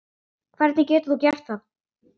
Hvernig getur þú gert það?